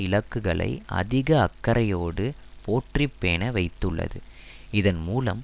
இலக்குகளை அதிக அக்கறையோடு போற்றி பேண வைத்துள்ளது இதன்மூலம்